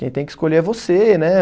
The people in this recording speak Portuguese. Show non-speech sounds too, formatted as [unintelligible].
Quem tem que escolher é você. [unintelligible]